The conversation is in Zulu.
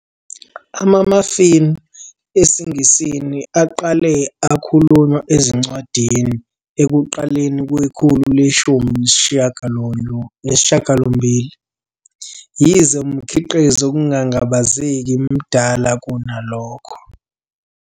Ama-muffin esiNgisi aqale akhulunywa ezincwadini ekuqaleni kwekhulu le-18, yize umkhiqizo ngokungangabazeki mdala kunalokho.